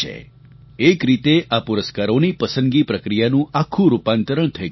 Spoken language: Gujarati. એક રીતે આ પુરસ્કારોની પસંદગી પ્રક્રિયાનું આખું રૂપાંતરણ થઈ ગયું છે